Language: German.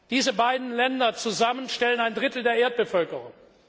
Diese beiden Länder zusammen stellen ein Drittel der Erdbevölkerung!